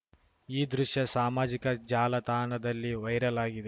ಈ ದೃಶ್ಯ ಸಾಮಾಜಿಕ ಜಾಲತಾಣದಲ್ಲಿ ವೈರಲ್‌ ಆಗಿದೆ